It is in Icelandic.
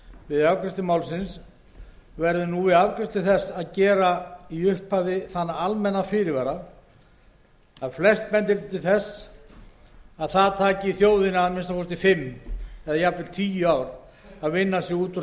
við afgreiðslu málsins verður að gera í upphafi þann almenna fyrirvara við afgreiðslu þess að flest bendir til að það taki þjóðina að minnsta kosti fimm eða jafnvel tíu ár að vinna sig út úr þeim